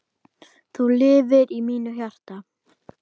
Þú lifir í mínu hjarta.